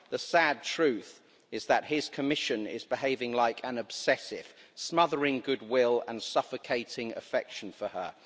The sad truth is that his Commission is behaving like an obsessive smothering goodwill and suffocating affection for her.